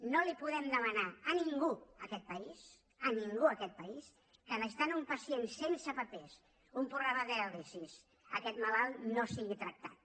no li podem demanar a ningú en aquest país a ningú en aquest país que necessitant un pacient sense papers un programa de diàlisi aquest malalt no sigui tractat